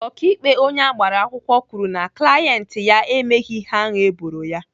Ọkaikpe onye agbara akwụkwọ kwuru na klaint ya emeghị ihe ahụ eboro ya.